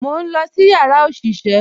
Mo n lọ sí yàrá oṣiṣẹ